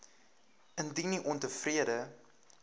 indien u ontevrede